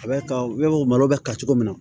A bɛ ka malo bɛ ka cogo min na